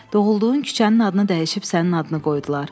Doğulduğun küçənin adını dəyişib sənin adını qoydular.